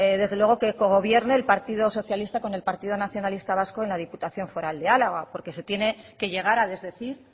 desde luego que cogobierno el partido socialista con el partido nacionalista vasco en la diputación foral de álava porque se tiene que llegar a desdecir